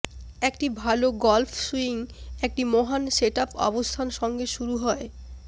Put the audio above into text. একটি ভাল golf swing একটি মহান সেটআপ অবস্থান সঙ্গে শুরু হয়